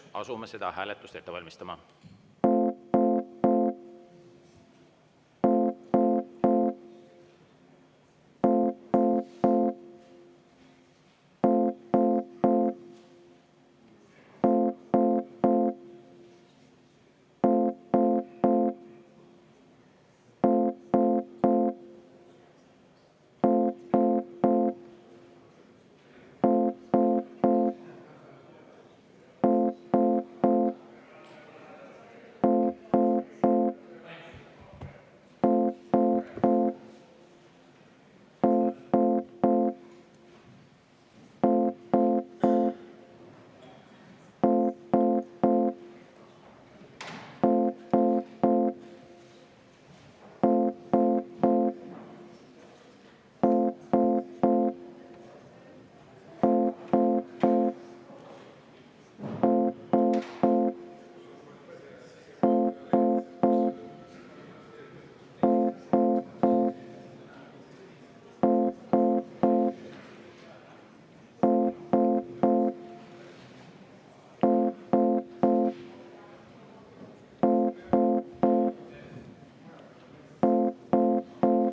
Asume seda hääletust ette valmistama.